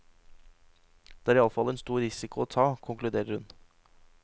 Det er i alle fall en stor risiko å ta, konkluderer hun.